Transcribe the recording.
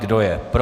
Kdo je pro?